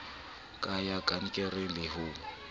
ka ya kankere le ho